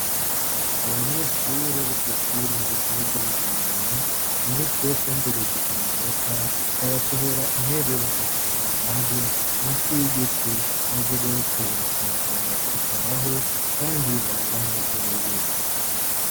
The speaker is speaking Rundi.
Abanyeshure bo kw'ishure rukuru ryi Bugendana, umunsi wokumviriza amanota ,barasohora intebe bakazishira hanze munsi yigiti maze bose bakaza bakicaraho, Kandi baba banezerewe.